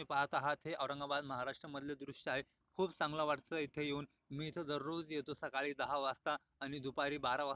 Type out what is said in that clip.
पाहत आहात हे औरंगाबाद मराष्ट्रामधले दृश्य आहे खूप चांगला वाटत इथे येऊन मी इथं दररोज येतो सकाळी दहा वाजता आणि दुपारी बारा वाज--